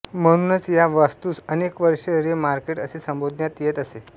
म्हणूनच ह्या वास्तूस अनेक वर्षे रे मार्केट असे संबोधण्यात येत असे